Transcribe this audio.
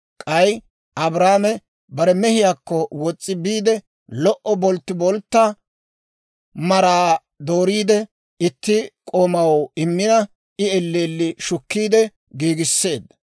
K'ay, Abrahaame bare mehiyaakko wos's'i biide, lo"o bolttiboltta bolttiboltta maraa dooriide, itti k'oomaw immina, I elleelli shukkiide giigisseedda.